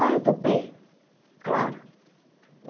Aí eu topei, claro.